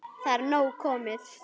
Það er nóg komið.